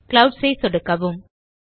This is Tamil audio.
க்ளவுட்ஸ் ஐ சொடுக்கவும்